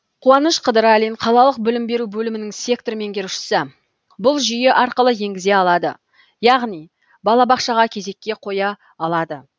қуаныш қыдыралин қалалық білім беру бөлімінің сектор меңгерушісі бұл жүйе арқылы енгізе алады яғни балабақшаға кезекке қоя алады